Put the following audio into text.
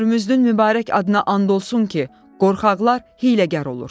Hörmüzdün mübarək adına and olsun ki, qorxaqlar hiyləgər olur.